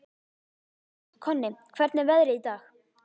Konni, hvernig er veðrið í dag?